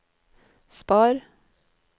spar